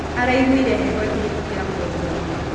Araĩgũĩre heho ĩkĩhĩtũkĩra mũgongoĩnĩ